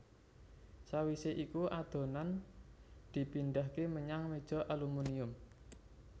Sawisé iku adonan dipindhahké menyang meja alumunium